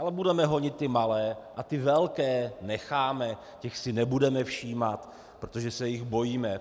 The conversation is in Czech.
Ale budeme honit ty malé a ty velké necháme, těch si nebudeme všímat, protože se jich bojíme.